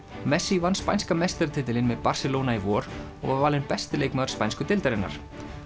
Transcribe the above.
messi vann spænska meistaratitilinn með Barcelona í vor og var valinn besti leikmaður spænsku deildarinnar